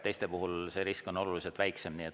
Teiste puhul see risk on oluliselt väiksem.